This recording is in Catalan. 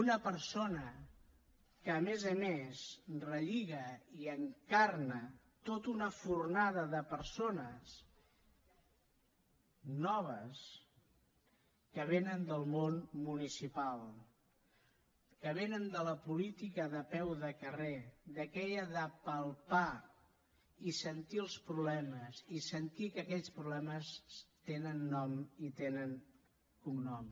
una persona que a més a més relliga i encarna tota una fornada de persones noves que vénen del món municipal que vénen de la política de peu de carrer d’aquella de palpar i sentir els problemes i sentir que aquells problemes tenen nom i tenen cognom